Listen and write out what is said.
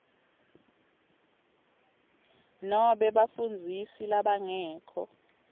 nobe bafundzisi labangekho